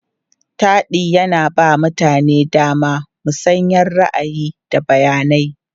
Taɗi yana ba mutane damar musayar ra'ayi, da bayanai.